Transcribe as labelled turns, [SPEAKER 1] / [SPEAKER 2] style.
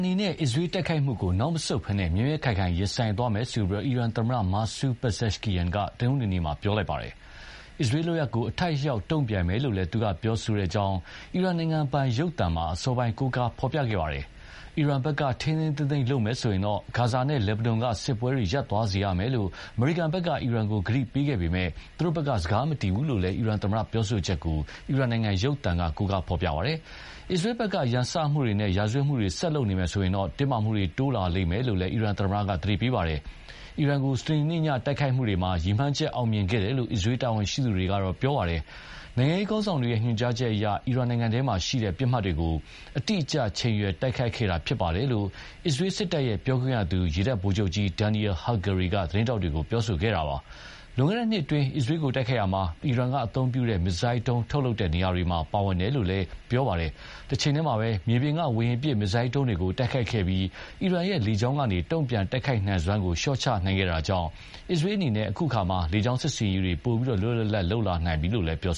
[SPEAKER 1] နေနဲ့ အစ္စရေးတိုက်ခိုက်မှုကို နောက်မဆုတ်ဘဲ မြဲမြဲခိုင်ခိုင်ရင်ဆိုင်သွားမယ်လို့ အီရန်သမ္မတ Mosoud Pezeshkian က တနင်္ဂနွေနေ့မှာ ပြောပါတယ်။ အစ္စရေးလုပ်ရပ်ကို အထိုက်အလျှောက် တုံ့ပြန်မယ်လို့လည်း သူကပြောကြောင်း အီရန်နိုင်ငံပိုင်ရုပ်သံမှာ အစောပိုင်းက ကိုးကားဖော်ပြခဲ့ပါတယ်။ အီရန်ဘက်က ထိန်းထိန်းသိမ်းသိမ်းလုပ်မယ်ဆိုရင် ဂါဇာနဲ့လက်ဘနွန်က စစ်ပွဲရပ်သွားစေရမယ်လို့ အမေရိကန်က အီရန်ကိုကတိပေးခဲ့ပေမယ့် သူတို့ဘက်ကစကားမတည်ဘူးလို့လည်း အီရန်သမ္မတရဲ့ပြောဆိုချက်ကို အီရန်နိုင်ငံရုပ်သံကကိုးကားဖော်ပြခဲ့ပါတယ်။ အစ္စရေးဘက်က ရန်စမှုတွေနဲ့ ရာဇဝတ်မှုတွေ ဆက်လုပ်နေမယ်ဆိုရင်တော့ တင်းမာမှုတွေတိုးလာမယ်လို့လည်း အီရန်သမ္မတက သတိပေးပါတယ်။ အီရန်ကို စနေနေ့ည တိုက်ခိုက်မှုတွေမှာ ရည်မှန်းချက်အောင်မြင်ခဲ့တယ်လို့ အစ္စရေးတာဝန်ရှိသူတွေက ပြောပါတယ်။“နိုင်ငံရေးခေါင်းဆောင်တွေရဲ့ ညွှန်ကြားချက်အရ အီရန်နိုင်ငံထဲက ပစ်မှတ်တွေကို အတိအကျချိန်ရွယ် တိုက်ခိုက်ခဲ့တာဖြစ်ပါတယ်။”လို့ အစ္စရေးစစ်တပ်ပြောခွင့်ရ ရေတပ်ဗိုလ်ချုပ်ကြီး Daniel Hagari က သတင်းထောက်တွေကို ပြောခဲ့တာပါ။ လွန်ခဲ့တဲ့နှစ်အတွင်း အစ္စရေးကို တိုက်ခိုက်ရာမှာ အီရန်ကအသုံးပြုတဲ့ မစ်ဇိုင်းဒုံးထုတ်လုပ်တဲ့နေရာတွေ ပါတယ်လို့လည်းပြောပါတယ်။ တချိန်တည်းမှာပဲ မြေပြင်က ဝေဟင်ပစ် မစ်ဇိုင်းဒုံးတွေကိုတိုက်ခိုက်ခဲ့ပြီး အီရန်ရဲ့ လေကြောင်းကနေ တုံ့ပြန်တိုက်ခိုက်နိုင်စွမ်းကို လျှော့ချနိုင်ခဲ့တာကြောင့် အစ္စရေးအနေနဲ့ အခုအခါ လေကြောင်း စစ်ဆင်ရေးတွေလွတ်လွတ်လပ်လပ် ပိုလုပ်နိုင်ပြီလို့လည်း ပြော